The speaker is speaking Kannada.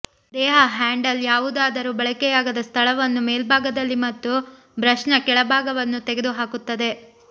ದೇಹ ಹ್ಯಾಂಡಲ್ ಯಾವುದಾದರೂ ಬಳಕೆಯಾಗದ ಸ್ಥಳವನ್ನು ಮೇಲ್ಭಾಗದಲ್ಲಿ ಮತ್ತು ಬ್ರಷ್ನ ಕೆಳಭಾಗವನ್ನು ತೆಗೆದು ಹಾಕುತ್ತದೆ